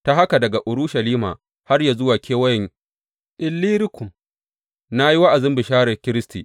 Ta haka daga Urushalima har yă zuwa kewayen Illirikum, na yi wa’azin bisharar Kiristi.